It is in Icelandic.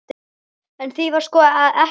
En því var sko ekki að heilsa.